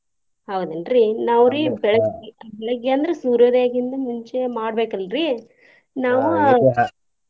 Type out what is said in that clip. ಹೌದೇನ್ರಿ ನಾವ್ರಿ ಬೆಳಗ್ಗೆ ಬೆಳಗ್ಗೆ ಅಂದ್ರ ಸೂರ್ಯೋದಯಗಿಂತ ಮುಂಚೆ ಮಾಡ್ಬೇಕ ಅಲ್ರಿ ನಾವ್ .